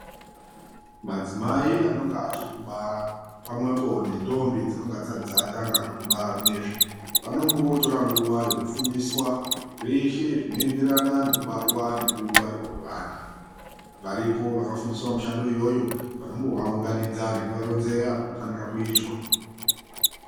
Madzimai anonga achitiribara pamwepo nendombi dzinonga dzisati dzatanga kubara zvinezvi vanombotora nguva yekufundiswa zveshe zvinoenderana nekubarwa nekungwarirwa kwevana varipo vakafundiswa mushando iyoyo vanombovaunganidza nekuvaronzera zvinofanira kuitwa